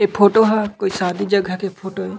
ये फोटो ह कोई शादी जगह के फोटो ए--